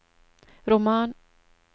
roman